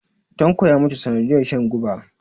tanko ya mutu sanadiyar shan guba